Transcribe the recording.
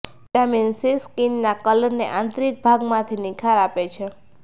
vitamin C skin ના કલર ને આંતરિક ભાગ માંથી નિખાર આપે છે